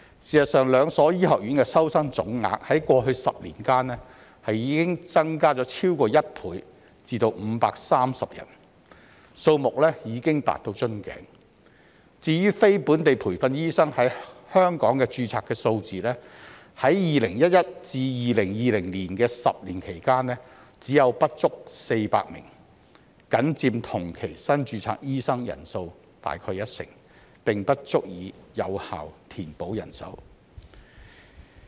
事實上，兩所醫學院的收生總額，在過去10年間已增加超過1倍至530人，數目已達瓶頸；至於非本地培訓醫生在港註冊的數字，在2011年至2020年的10年間，只有不足400名，僅佔同期新註冊醫生人數約一成，並不足以有效填補人手。